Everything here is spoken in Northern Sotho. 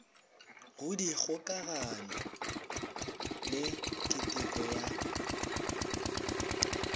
go dikgokagano le keteko ya